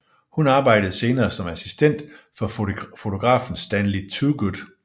Hun arbejdede senere som assistent for fotografen Stanley Toogood